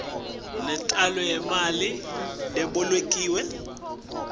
nentalo yemali lebolekiwe